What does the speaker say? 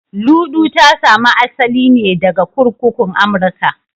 Luɗu ta sami asali ne daga kurkukun Amurka